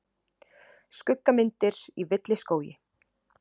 Skuggamyndir í villiskógi.